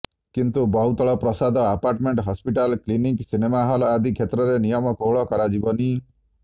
କିନ୍ତୁ ବହୁତଳ ପ୍ରସାଦ apartment hospital clinic cinema hall ଆଦି କ୍ଷେତ୍ରରେ ନିୟମ କୋହଳ କରାଯିବନି